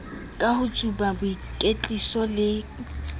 ka ho tsuba boikwetliso le